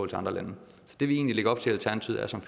til andre lande så det vi egentlig lægger op til